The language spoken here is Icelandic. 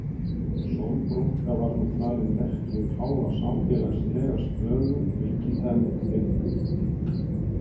Sólbrúnka var nú talin merki um háa samfélagslega stöðu, ríkidæmi og heilbrigði.